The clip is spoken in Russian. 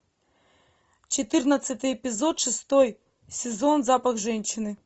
четырнадцатый эпизод шестой сезон запах женщины